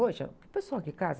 Hoje, eh, o pessoal que casa...